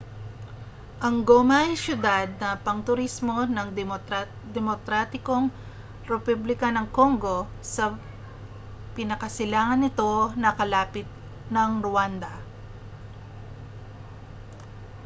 ang goma ay siyudad na pangturismo ng demokratikong republika ng congo sa pinakasilangan nito na kalapit ng rwanda